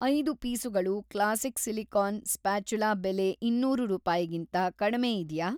ಐದು ಪೀಸುಗಳು classic silicone spatula ಬೆಲೆ ಇನ್ನೂರು ರೂಪಾಯಿಗಿಂತ ಕಡ್ಮೆ ಇದ್ಯಾ?